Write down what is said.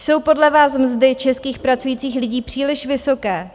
Jsou podle vás mzdy českých pracujících lidí příliš vysoké?